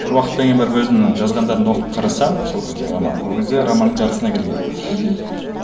бір уақыттан кейін барып өзімнің жазғандарымды оқып қарасам сол кезде романның ол кезде романның жартысына келгенмін мхм